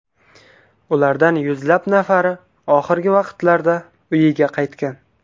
Ulardan yuzlab nafari oxirgi vaqtlarda uyiga qaytgan.